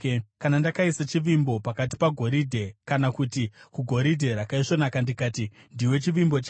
“Kana ndakaisa chivimbo changu pagoridhe, kana kuti kugoridhe rakaisvonaka ndikati, ‘Ndiwe chivimbo changu,’